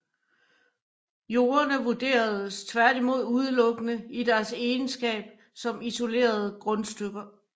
Jordene vurderedes tværtimod udelukkende i deres egenskab som isolerede grundstykker